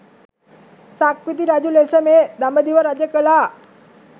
සක්විති රජු ලෙස මේ දඹදිව රජ කළා.